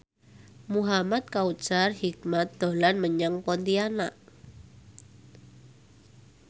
Muhamad Kautsar Hikmat dolan menyang Pontianak